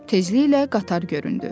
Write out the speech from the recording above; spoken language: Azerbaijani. Tezliklə qatar göründü.